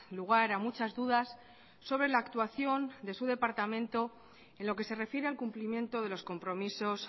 lugar a muchas dudas sobre la actuación de su departamento en lo que se refiere al cumplimiento de los compromisos